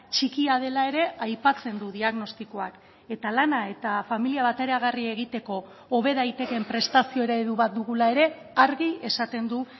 txikia dela ere aipatzen du diagnostikoak eta lana eta familia bateragarri egiteko hobe daitekeen prestazio eredu bat dugula ere argi esaten du